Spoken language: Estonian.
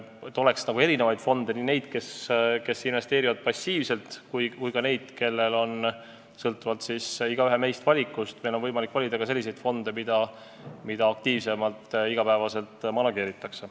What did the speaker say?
Peab olema erinevaid fonde, ka selliseid, kes investeerivad passiivselt, aga meil peab olema võimalik valida ka selliseid fonde, mida iga päev aktiivsemalt manageeritakse.